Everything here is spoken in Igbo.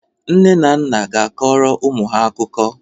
Nne na nna ga-akọrọ ụmụ ha akụkọ.